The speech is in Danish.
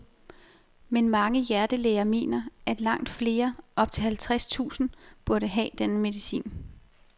Men mange hjertelæger mener, at langt flere, op til halvtreds tusind, burde have denne medicin.